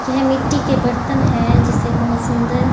यह मिट्टी के बर्तन है जिसे बहुत सुंदर--